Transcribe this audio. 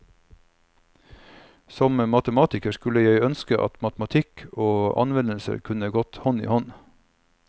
Som matematiker skulle jeg ønske at matematikk og anvendelser kunne gått hånd i hånd.